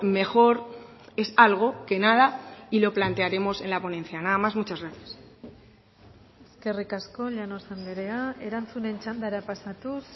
mejor es algo que nada y lo plantearemos en la ponencia nada más muchas gracias eskerrik asko llanos andrea erantzunen txandara pasatuz